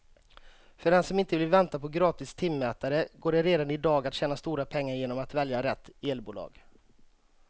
För den som inte vill vänta på gratis timmätare går det redan i dag att tjäna stora pengar genom att välja rätt elbolag.